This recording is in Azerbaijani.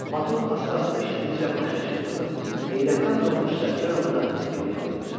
Motor asta-asta işlədikcə maşın çırpınır, heyrətdən donmuş Sərkarovu da yırğalayırdı.